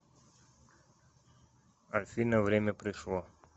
афина время пришло